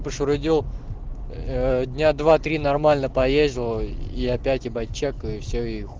дня два три нормально поездил и опять ебать чекаю все